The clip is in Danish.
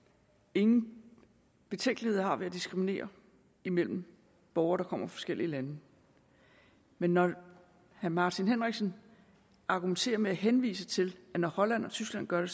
ingen betænkeligheder har ved at diskriminere imellem borgere der kommer fra forskellige lande men når herre martin henriksen argumenterer med at henvise til at når holland og tyskland gør det